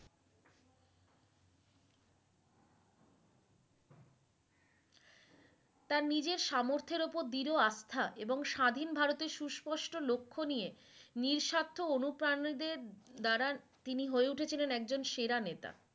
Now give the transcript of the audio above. তার নিজের সামর্থ্যের উপর দৃঢ় আস্থা এবং স্বাধীন ভারতের সুস্পষ্ট লক্ষ্য নিয়ে নিঃস্বার্থ অনুপ্রানিদের দ্বারা তিনি হয়ে উঠেছিলেন একজন সেরা নেতা